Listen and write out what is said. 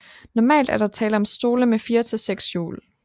Normalt er der tale om stole med 4 til 6 hjul